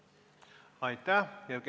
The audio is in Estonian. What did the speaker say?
Aitäh!